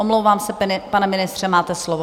Omlouvám se, pane ministře, máte slovo.